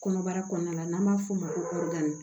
Kɔnɔbara kɔɔna la n'an b'a f'o ma ko kɔdanin